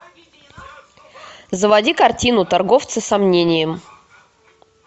заводи картину торговцы сомнением